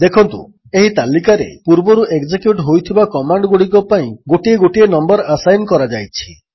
ଦେଖନ୍ତୁ ଏହି ତାଲିକାରେ ପୂର୍ବରୁ ଏକ୍ଜେକ୍ୟୁଟ୍ ହୋଇଥିବା କମାଣ୍ଡଗୁଡ଼ିକ ପାଇଁ ଗୋଟିଏ ଗୋଟିଏ ନମ୍ୱର୍ ଆସାଇନ୍ ଲରାଯାଇଛି